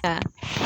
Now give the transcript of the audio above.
Ka